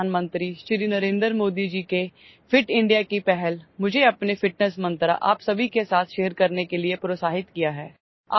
माननीय प्रधानमंत्री श्री नरेंद्र मोदी जी केଫିଟ୍ ଇଣ୍ଡିଆ की पहल मुझे अपने ଫିଟନେସ୍ मंत्र आप सभी के साथshare करने के लिए प्रोत्साहित किया है